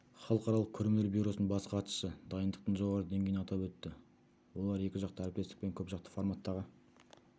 халықаралық көрмелер бюросының бас хатшысы дайындықтың жоғары деңгейін атап өтті олар екіжақты әріптестік пен көпжақты форматтағы